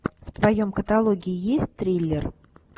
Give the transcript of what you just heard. в твоем каталоге есть триллер